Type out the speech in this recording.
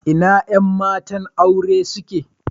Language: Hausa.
Ina yan matan aure suke?